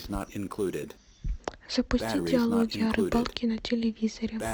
запусти диалоги о рыбалке на телевизоре